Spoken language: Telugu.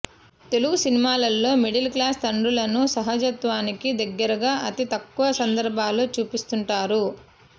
తెలుగు సినిమాలలో మిడిల్ క్లాస్ తండ్రులను సహజత్వానికి దగ్గరగా అతి తక్కువ సందర్భాలలో చూపిస్తుంటారు